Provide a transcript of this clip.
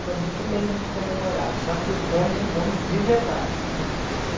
Foi muito bem comemorado, já que vamos, vamos de verdade, né.